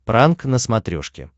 пранк на смотрешке